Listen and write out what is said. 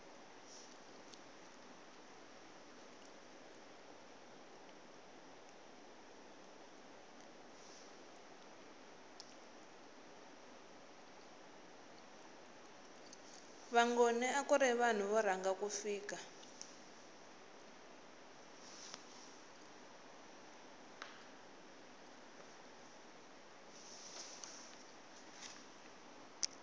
vangoni akuri vanhu vo rhanga ku fika